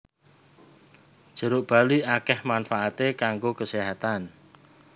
Jeruk bali akèh manfaaté kanggo keséhatan